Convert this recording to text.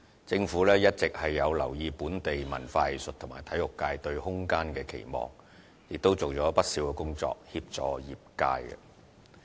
政府一直有留意本地文化藝術和體育界對空間的需求，亦已做了不少協助業界的工作。